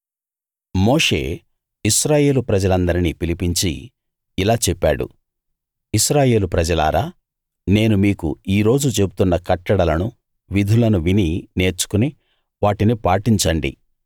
మోషే ఇశ్రాయేలు ప్రజలందరినీ పిలిపించి ఇలా చెప్పాడు ఇశ్రాయేలు ప్రజలారా నేను మీకు ఈ రోజు చెబుతున్న కట్టడలను విధులను విని నేర్చుకుని వాటిని పాటించండి